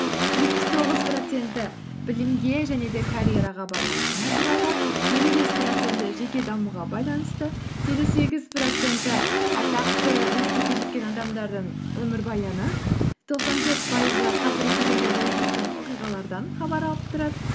жетпіс тоғыз проценті білімге және де карьераға байланысты материалдар елу бес проценті жеке дамуға байланысты елу сегіз проценті атақты жетістікке жеткен адамдардың өмірбаяны тоқсан төрт пайызы қазіргі кезеңде болып жатқан оқиғалардан хабар алып тұрады